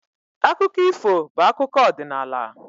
Akụkọ ifo bụ akụkọ ọdịnala